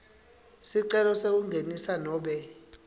sicelo sekungenisa nobe